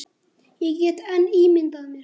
Ég get enn ímyndað mér!